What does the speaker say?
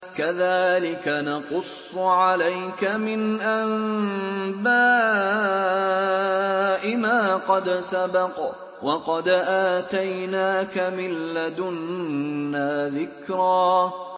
كَذَٰلِكَ نَقُصُّ عَلَيْكَ مِنْ أَنبَاءِ مَا قَدْ سَبَقَ ۚ وَقَدْ آتَيْنَاكَ مِن لَّدُنَّا ذِكْرًا